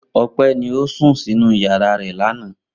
Ope ni o sun ninu yara re lana.